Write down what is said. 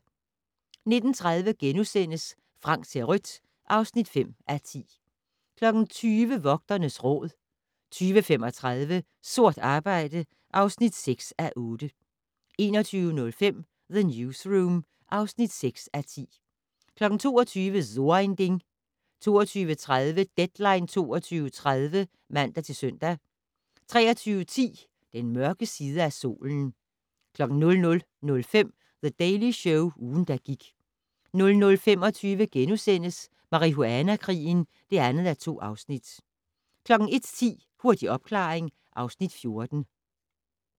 19:30: Frank ser rødt (5:10)* 20:00: Vogternes Råd 20:35: Sort arbejde (6:8) 21:05: The Newsroom (6:10) 22:00: So ein Ding 22:30: Deadline 22.30 (man-søn) 23:10: Den mørke side af solen 00:05: The Daily Show - ugen, der gik 00:25: Marihuana-krigen (2:2)* 01:10: Hurtig opklaring (Afs. 14)